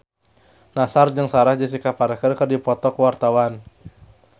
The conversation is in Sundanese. Nassar jeung Sarah Jessica Parker keur dipoto ku wartawan